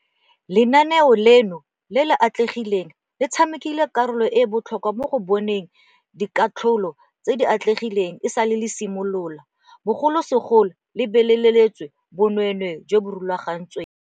Lenaneo leno le le atlegileng le tshamekile karolo e e botlhokwa mo go boneng dikatlholo tse di atlegileng esale le simolola, bogolosegolo go lebeletswe bonweenwee jo bo rulagantsweng.